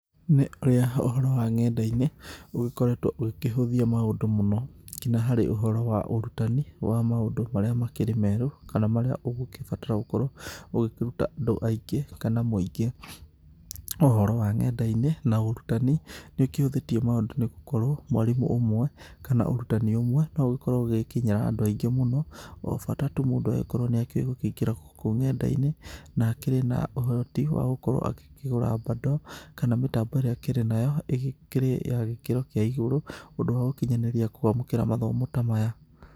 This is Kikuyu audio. Nĩ ũrĩa ũhoro wa nenda-inĩ ũgĩkoretwo ũgĩkĩhũthia maũndũ mũno nginya harĩ ũhoro wa ũrutani wa maũndũ marĩa makĩrĩ merũ, kana marĩa ũgĩkĩbatara gũkorwo ugĩkĩruta andũ aingĩ kana mũingĩ. Ũhoro wa nenda-inĩ na ũrutani ni ũkĩhũthĩtie maũndũ nĩ gũkorwo mwarimũ ũmwe kana ũrutani ũmwe na ũgĩkorwo ũgĩgĩkinyĩra andũ aingĩ mũno, o bata tu mũndũ agĩkorwo nĩakĩũĩ gũkĩingĩra gũkũ nenda-inĩ na akĩrĩ na ũhoti wa gũkorwo agĩkĩgũra bundle kana mĩtambo ĩrĩa akĩrĩ nayo ĩgĩkĩrĩ ya gĩkĩro kĩa igũrũ, ũndũ wa gukinyanĩria kwamũkĩra mathomo ta maya.